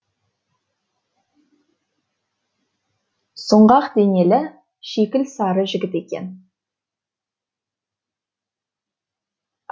сұңғақ денелі шикіл сары жігіт екен